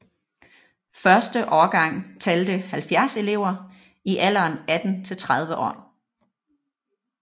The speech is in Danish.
Første årgang talte 70 elever i alderen 18 til 30 år